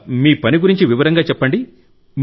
మీ పని గురించి వివరంగా చెప్పండి